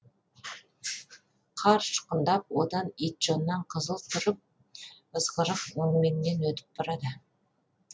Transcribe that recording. қар ұшқындап одан итжоннан қызыл тұрып ызғырық өңмеңнен өтіп барады